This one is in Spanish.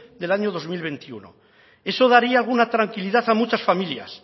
del año dos mil veintiuno eso daría alguna tranquilidad a muchas familias